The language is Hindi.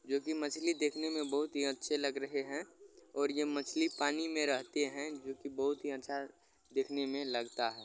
जो की मछली दिखने में बहुत ही अच्छी लग रहे है और ये मछली पानी में रहते है जो की बहुत ही अच्छा देखने में लगता ह।